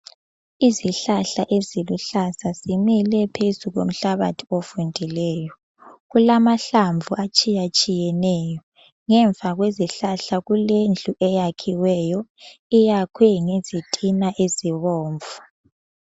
Izihlahla eziluhlaza zimile phezu komhlabathi ovundileyo, kulamahlavu atshiya tshiyeneyo ngemva kwezihlala kulendu eyakhiweyo iyakhwe ngezitina ezibomvu.